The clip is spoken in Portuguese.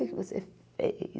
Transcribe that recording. O que é que você fez?